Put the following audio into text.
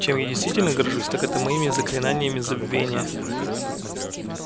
чем я действительно горжусь так это моими заклинаниями забвения